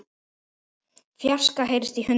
fjarska heyrist í hundi.